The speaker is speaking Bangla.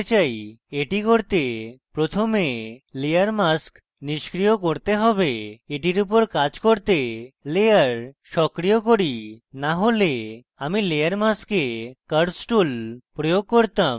এটি করতে প্রথমে layer mask নিস্ক্রিয় করতে have এবং এটির উপর কাজ করতে layer সক্রিয় করি না হলে আমি layer mask curves tool প্রয়োগ করতাম